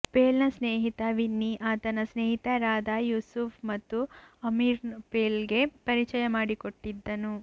ಪೇಲ್ನ ಸ್ನೇಹಿತ ವಿನ್ನಿ ಆತನ ಸ್ನೇಹಿತರಾದ ಂುೂಸುಪ್ ಮತ್ತು ಆಮಿರ್ನ್ನು ಪೇಲ್ಗೆ ಪರಿಚಂುು ಮಾಡಿಕೊಟ್ಟಿದ್ದನು